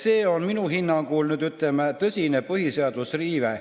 See on minu hinnangul tõsine põhiseaduse riive.